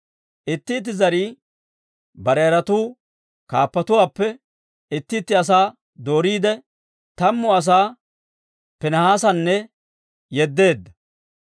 Itti itti zarii bare yaratuu kaappatuwaappe itti itti asaa dooriide, tammu asaa Piinihaasanna yeddeedda.